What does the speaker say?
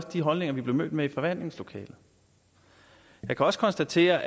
de holdninger vi blev mødt med i forhandlingslokalet jeg kan også konstatere